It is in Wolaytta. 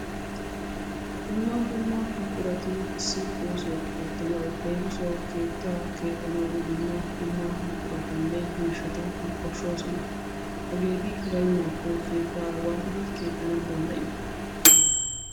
Dumma dumma buqurati issi oosuwa ootanawu leemissuwawu keettaa keexxanawu dumma dumma buquratanne miishata koshoosona. Hegeeti baynaako keetaa waatidi kexanawu danddayiyo?